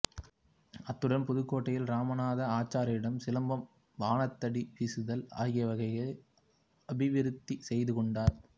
அத்துடன் புதுக்கோட்டையில் இராமநாத ஆச்சாரியாரிடம் சிலம்பம் பாணாத்தடி வீசுதல் ஆகியவைகளை அபிவிருத்தி செய்து கொண்டார்